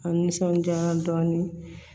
A nisɔndiya dɔɔnin